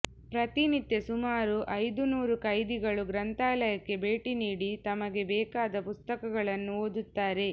ಪ್ರತಿನಿತ್ಯ ಸುಮಾರು ಐದುನೂರು ಕೈದಿಗಳು ಗ್ರಂಥಾಲಯಕ್ಕೇ ಭೇಟಿ ನೀಡಿ ತಮಗೆ ಬೇಕಾದ ಪುಸ್ತಕಗಳನ್ನು ಓದುತ್ತಾರೆ